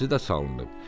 Rəzəsi də salınıb.